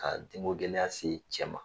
Ka denko gɛlɛya se cɛ ma